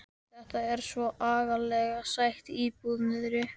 Þetta er svo agalega sæt íbúð niðri.